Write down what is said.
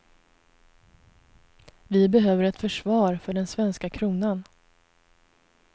Vi behöver ett försvar för den svenska kronan.